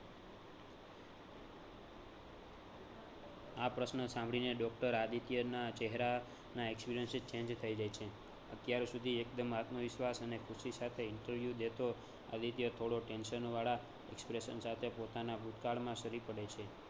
આ પ્રશ્ન સાંભળીને doctor આદિત્યના ચેહરાના expression change થઈ જાય છે. અત્યાર સુધી એકદમ આત્મવિશ્વાસ અને ખૂશી સાથે interview દેતો, આદિત્ય થોડો tension વાળા expression સાથે પોતાના ભૂતકાળનામાં સરી પડે છે